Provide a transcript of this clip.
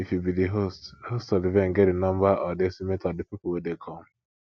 if you be di host host of the event get the number or the estimate of di people wey dey come